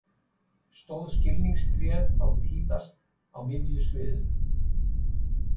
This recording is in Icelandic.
Stóð skilningstréð þá tíðast á miðju sviðinu.